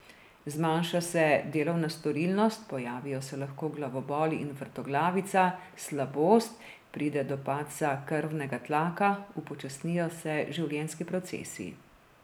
Zmanjša se delovna storilnost, pojavijo se lahko glavobol in vrtoglavica, slabost, pride do padca krvnega tlaka, upočasnijo se življenjski procesi.